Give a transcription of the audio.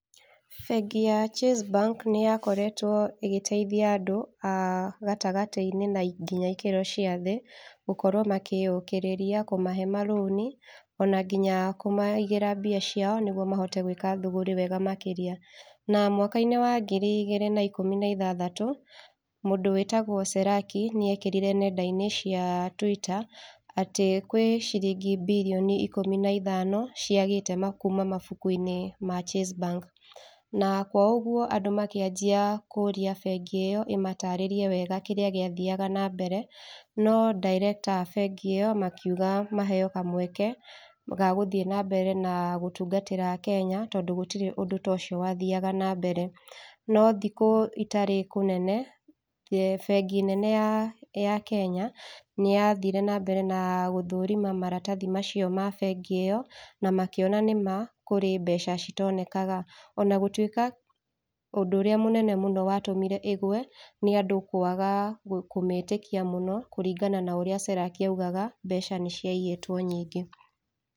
Bengi ya Chase Bank nĩyakoretwo ĩgĩteithia andũ a gatagatĩ-inĩ na nginya ikĩro cia thĩ gũkorwo makĩyũkĩrĩria, kũmahe marũni, ona nginya kũmaigĩra mbia ciao nĩguo mahote gwĩka thũgũrĩ wega makĩria. Na mwaka-inĩ wa ngiri igĩrĩ na ikũmi na ithathatũ, mũndũ wĩtagwo Seraki nĩekĩrire nenda-inĩ cia Twitter, atĩ kwĩ ciringi birioni ikũmi na ithano ciagĩte kuma mabuku-inĩ ma Chase Bank. Na kwa ũguo andũ makĩanjia kũria bengi ĩyo ĩmataarĩrie wega kĩrĩa gĩathiaga na mbere, no director a bengi ĩyo makiuga maheo kamweke ga gũthiĩ na mbere na gũtungatĩra Kenya, tondũ gũtirĩ ũndũ ta ũcio wathiaga na mbere. No thikũ itarĩ kũnene, bengi nene ye Kenya, nĩyathire na mbere na gũthũrima maratathi macio ma bengi ĩyo na makĩona nĩma kũrĩ mbeca citonekaga. Onagũtuĩka ũndũ ũrĩa mũnene mũno watũmire ĩgwe nĩ andũ kwaga kũmĩtĩkia mũno kũringana na ũrĩa Seraki augaga mbeca nĩciaiyĩtwo nyingĩ.